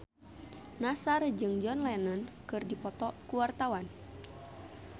Nassar jeung John Lennon keur dipoto ku wartawan